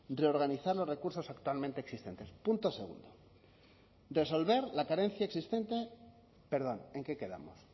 reorganizar los recursos actualmente existentes punto segundo resolver la carencia existente perdón en qué quedamos